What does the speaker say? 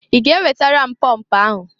I ga ewetara m pọmp ahụ!